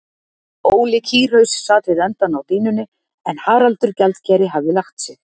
Óli kýrhaus sat við endann á dýnunni en Haraldur gjaldkeri hafði lagt sig.